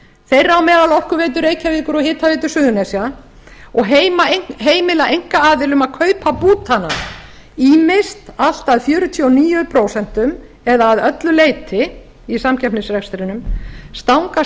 þeirra á meðal orkuveitu reykjavíkur og hitaveitu suðurnesja og heimila einkaaðilum að kaupa bútana ýmist allt að fjörutíu og níu prósent eða að öllu leyti í samkeppnisrekstrinum stangast